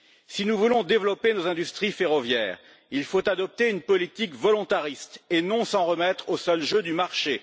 Si nous voulons développer nos industries ferroviaires, il faut adopter une politique volontariste et non s'en remettre au seul jeu du marché.